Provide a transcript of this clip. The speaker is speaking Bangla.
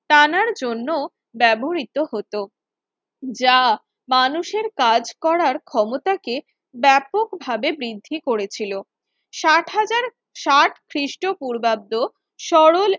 টানার জন্য ব্যবহৃত হতো যা মানুষের কাজ করার ক্ষমতাকে ব্যাপকভাবে বৃদ্ধি করেছিল ষাট হাজার ষাট খ্রিস্টপূর্বাব্দ সরল